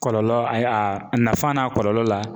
Kɔlɔlɔ ayi a nafa n'a kɔlɔlɔ la.